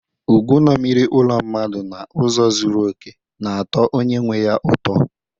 Ogwu ṅomiri olu mmadụ n’ụzọ zuru oke, na-atọ onye nwe ya ụtọ.